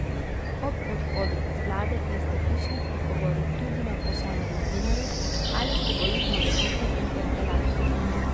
Ob odhodu iz vlade je Stepišnik odgovoril tudi na vprašanje novinarjev, ali se boji morebitne interpelacije.